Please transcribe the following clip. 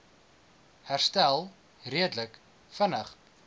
herstel redelik vinnig